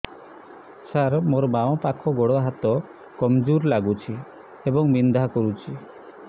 ସାର ମୋର ବାମ ପାଖ ଗୋଡ ହାତ କମଜୁର ଲାଗୁଛି ଏବଂ ବିନ୍ଧା କରୁଛି